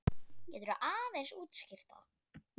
Getur þú aðeins útskýrt það?